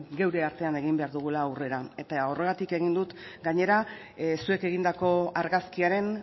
geure artean egin behar dugula aurrera horregatik egin dut gainera zuek egindako argazkiaren